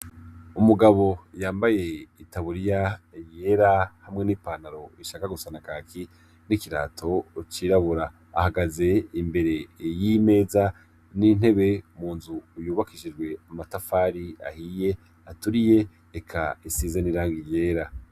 Umugabo yambaye itaburiya yera hamwe n'ipantaro ishaka gusana kaki n'ikirato cirabura ahagaze imbere y'imeza n'intebe mu nzu uyubakishijwe amatafari ahiye aturiye reka isize n’irangi yera.